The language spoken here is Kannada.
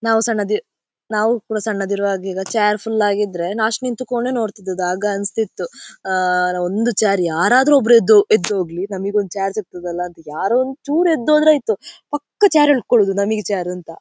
ನಾವು ಸಣ್ಣದ್ ನಾವು ಕೂಡ ಸಣ್ಣದ್ ಇರುವಾಗ ಈಗ ಚೇರ್ ಫುಲ್ ಆಗಿ ಇದ್ರೆ ಲಾಸ್ಟ್ ನಿಂತುಕೊಂಡೆ ನೋಡ್ತಿದ್ವಿ ಆಗ ಅನ್ಸ್ತಿತ್ತು ಆಹ್ಹ್ ಒಂದು ಚೇರ್ ಯಾರಾದರೂ ಒಬ್ಬರು ಎದ್ದು ಎದ್ದು ಹೋಗ್ಲಿ ನಮಿಗೆ ಒಂದು ಚೇರ್ ಸಿಗ್ತದ್ದೆ ಅಲ್ಲ ಅಂತ ಯಾರೋ ಒಂದು ಚೂರು ಎದ್ದು ಹೋದರೆ ಆಯಿತು ಪಕ್ಕ ಚೇರ್ ಎಳ್ಕೊಳೋದು ನಮಿಗೆ ಚೇರ್ ಅಂತ.